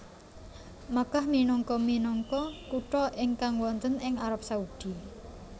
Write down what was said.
Makkah minangka minangka kutha ingkang wonten ing Arab Saudi